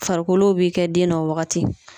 Farikolow be kɛ den na o wagati